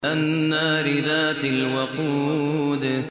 النَّارِ ذَاتِ الْوَقُودِ